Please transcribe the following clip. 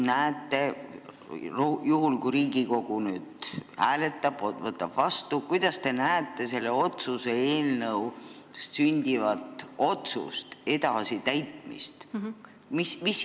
Juhul kui Riigikogu nüüd hääletab ja võtab selle vastu, kuidas siis teie arvates hakatakse seda otsust täitma?